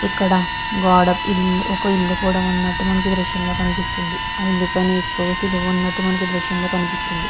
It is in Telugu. ఇక్కడ గోడ పిల్లి ఒక ఇల్లు కూడా ఉన్నట్టు మనకి దృశ్యం లో కనిపిస్తుంది. ఆఇల్లు పైన ఇసుక పోసి దువ్వ ఉన్నటు మనకి దృశ్యం లో కనిపిస్తుంది.